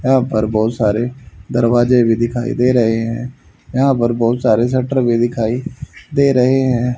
यहां पर बहुत सारे दरवाजे भी दिखाई दे रहे हैं यहां पर बहुत सारे शटर भी दिखाई दे रहे हैं।